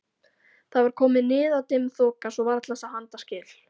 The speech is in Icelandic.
Það var komin niðadimm þoka svo varla sá handaskil.